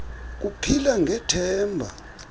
ku phila ngethemba